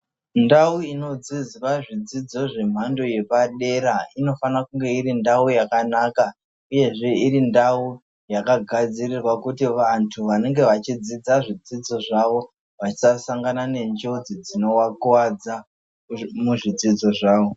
Ndau inodzidzwa zvidzidzo zvemhando yepadera inofanira kunge iri ndau yakanaka uyezve iri ndau yakagadzirirwa kuti vantu vanenge vachidzidza zvidzidzo zvavo vasasangana nenjodzi dzinovakuwadza muzvidzidzo zvavo.